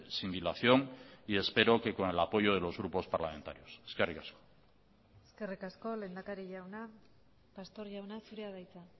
sin dilación y espero que con el apoyo de los grupos parlamentarios eskerrik asko eskerrik asko lehendakari jauna pastor jauna zurea da hitza